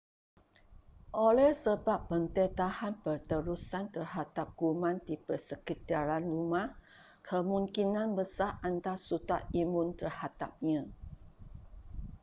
oleh sebab pendedahan berterusan terhadap kuman di persekitaran rumah kemungkinan besar anda sudah imun terhadapnya